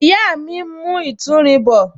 Ìyá mi ń mu ìtúrin bọ